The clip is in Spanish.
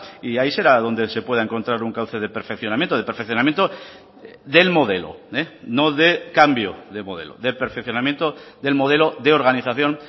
y ahí será donde se pueda encontrar un cauce de perfeccionamiento de perfeccionamiento del modelo no de cambio de modelo de perfeccionamiento del modelo de organización